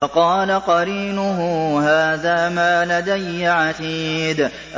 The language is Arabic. وَقَالَ قَرِينُهُ هَٰذَا مَا لَدَيَّ عَتِيدٌ